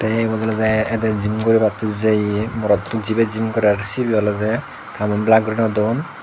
tey ebot olodey edey jim guribattey jeye morotto jibey jim gorer sibey olodey tamum belak guri nw don.